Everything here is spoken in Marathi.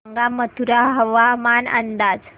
सांगा मथुरा हवामान अंदाज